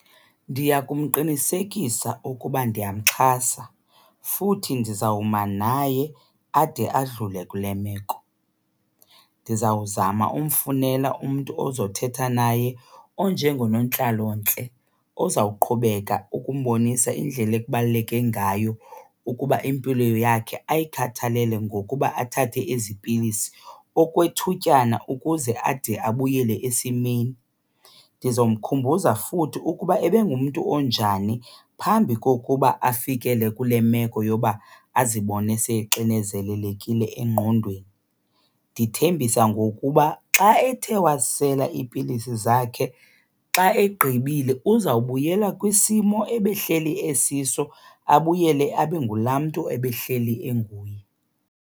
Ndiya kumqinisekisa ukuba ndiyamxhasa futhi ndizawuma naye ade adlule kule meko. Ndizawuzama umfunela umntu ozothetha naye onjengonontlalontle ozawuqhubeka ukumbonisa indlela ekubaluleke ngayo ukuba impilo yakhe ayikhathalele ngokuba athathe ezi pilisi okwethutyana ukuze ade abuyele esimeni. Ndizomkhumbuza futhi ukuba ebengumntu onjani phambi kokuba afikele kule meko yoba azibone sexinezelelekile engqondweni. Ndithembisa ngokuba xa ethe wazisela iipilisi zakhe xa egqibile uzawubuyela kwisimo ebehleli esiso, abuyele abe ngulaa mntu ebehleli enguye.